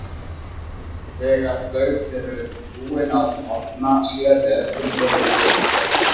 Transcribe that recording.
Þegar þau voru búin að orna sér við eldinn fóru þau upp í herbergi.